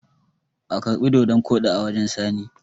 a karbi dodon Kodi a wajen sani!